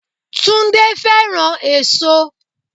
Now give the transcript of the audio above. Túndé fẹ́ràn èso.